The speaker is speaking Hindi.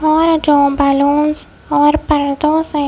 और जो बलुन्स और परदों से --